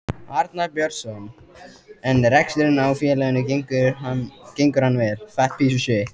Arnar Björnsson: En reksturinn á félaginu gengur hann vel?